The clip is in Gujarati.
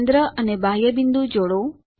કેન્દ્ર અને બાહ્ય બિંદુ જોડો